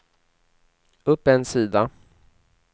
upp en sida